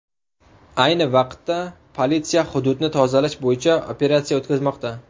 Ayni vaqtda politsiya hududni tozalash bo‘yicha operatsiya o‘tkazmoqda.